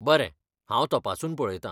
बरें. हांव तपासून पळयतां.